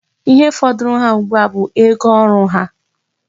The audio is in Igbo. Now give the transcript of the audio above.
Ihe fọdụrụ ha ugbua a bụ ego oru ha.